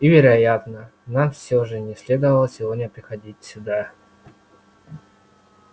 и вероятно нам всё же не следовало сегодня приходить сюда